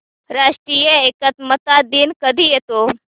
राष्ट्रीय एकात्मता दिन कधी येतो